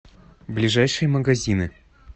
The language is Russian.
ближайшие магазины